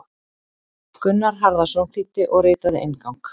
Gunnar Harðarson þýddi og ritaði inngang.